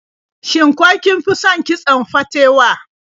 Shin ko kin fi son kitson fatewa?